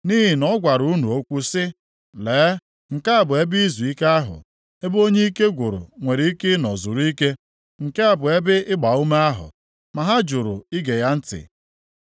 Nʼihi na ọ gwara unu okwu sị, “Lee, nke a bụ ebe izuike ahụ, ebe onye ike gwụrụ nwere ike ịnọ zuru ike; nke a bụ ebe ịgbaume ahụ.” Ma ha jụrụ ige ya ntị.